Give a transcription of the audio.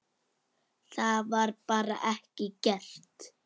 Það var bara ekki gert.